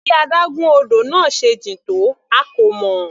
Bí adágún odò náà se jìn tó a kò mọ̀.